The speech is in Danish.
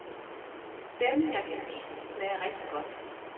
Dem, jeg kan lide, smager rigtig godt.